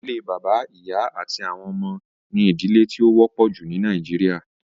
Ìdílé bàbá, ìyá, àti àwọn ọmọ ní ìdílé tí ó wọ́pọ̀ jù ní nàìjíría